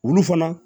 Olu fana